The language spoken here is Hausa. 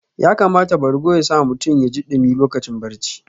Ya kamata bargo ya sa mutum yaji ɗumi lokacin barci